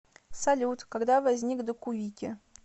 салют когда возник докувики